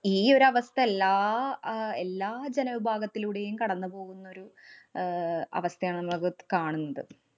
ഈ ഒരവസ്ഥ എല്ലാ എല്ലാ അഹ് എല്ലാ ജനവിഭാഗത്തിലൂടെയും കടന്നു പോകുന്നൊരു ആഹ് അവസ്ഥയാണെന്നത് കാണുന്നുണ്ട്.